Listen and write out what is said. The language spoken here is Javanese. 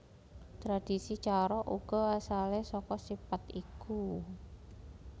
Tradisi carok uga asale saka sipat iku